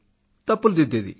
తప్పులు దిద్దేది